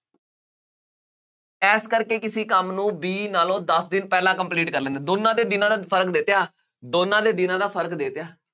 ਇਸ ਕਰਕੇ ਕਿਸੇ ਕੰਮ ਨੂੰ B ਨਾਲੋਂ ਦੱਸ ਦਿਨ ਪਹਿਲਾਂ complete ਕਰ ਲੈਂਦਾ, ਦੋਨਾਂ ਦੇ ਦਿਨਾਂ ਦਾ ਫਰਕ ਦੇ ਤਿਆ, ਦੋਨਾਂ ਦੇ ਦਿਨਾਂ ਦਾ ਫਰਕ ਦੇ ਤਿਆ